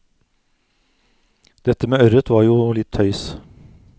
Dette med ørret var jo litt tøys.